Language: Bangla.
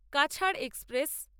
কাছাড় এক্সপ্রেস